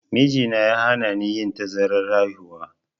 Mijina ya hanani yin tazarar haihuwa.